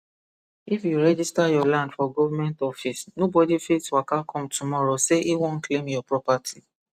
if you register your land for government office nobody fit waka come tomorrow sey he won claim your property